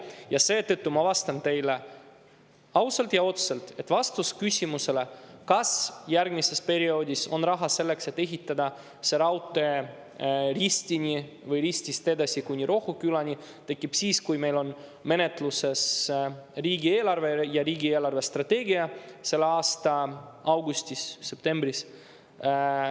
Ja seetõttu ma vastan teile ausalt ja otse, et vastus küsimusele, kas järgmises perioodis on raha selleks, et ehitada see raudtee Ristini või Ristist edasi kuni Rohukülani, tekib siis, kui meil on menetluses riigieelarve ja riigi eelarvestrateegia selle aasta augustis-septembris.